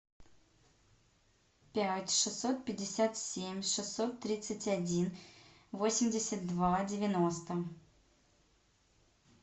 пять шестьсот пятьдесят семь шестьсот тридцать один восемьдесят два девяносто